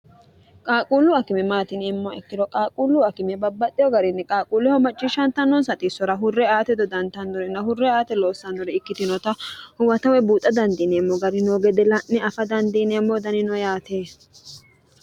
qaaquullu akime maatiniemmo ikkiro qaaquullu akime babbaxxeho garinni qaaquulleho macciishshantannoonsaxiissora hurre aate dodantannorina hurre aate loossannori ikkitinota huwatawe buuxa dandiineemmo gari noo gede la'ne afa dandiineemmo danino yaate